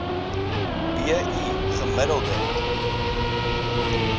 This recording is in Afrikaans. b i gemiddelde